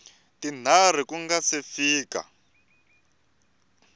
tinharhu ku nga si fika